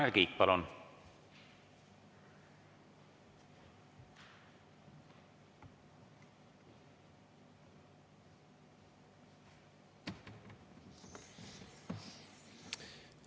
Tanel Kiik, palun!